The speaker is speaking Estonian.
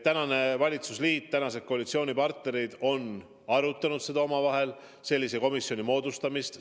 Tänane valitsusliit, tänased koalitsioonipartnerid on sellise komisjoni moodustamist arutanud.